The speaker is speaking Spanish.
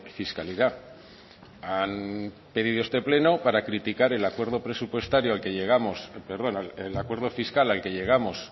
fiscalidad han pedido este pleno para criticar el acuerdo fiscal al que llegamos